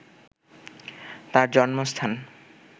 তার জন্মাস্থান